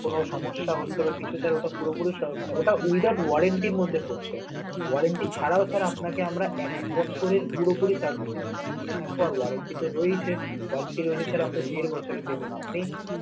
কোনো সমস্যা হচ্ছে না sir ওটা oeither orentry র মধ্যে পড়ছে, orentry ছাড়াও sir আপনাকে আমরা এক বছরের পুরোপুরি services দিয়ে orentry তো রয়েছে তাহলে sir আমরা দেড় বছরের দেব না.